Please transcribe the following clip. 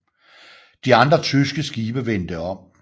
De andre tyske skibe vendte om